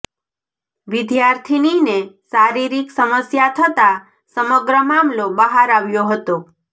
વિદ્યાર્થીનીને શારીરિક સમસ્યા થતા સમગ્ર મામલો બહાર આવ્યો હતો